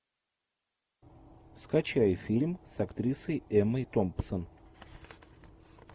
скачай фильм с актрисой эммой томпсон